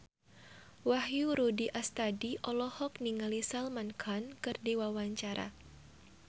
Wahyu Rudi Astadi olohok ningali Salman Khan keur diwawancara